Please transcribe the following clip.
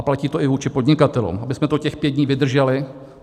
A platí to i vůči podnikatelům, abychom to těch pět dní vydrželi.